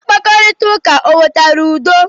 Mkparita ụka o wetara udo?